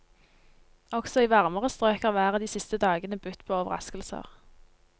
Også i varmere strøk har været de siste dagene budt på overraskelser.